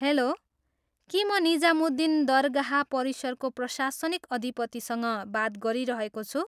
Hello, के म निजामुद्दिन दरगाह परिसरको प्रशासनिक अधिपतिसँग बात गरिरहेको छु?